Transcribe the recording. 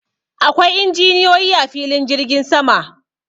Akwai injiniyoyi a filin jirgin sama.